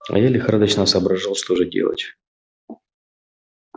а я лихорадочно соображал что же делать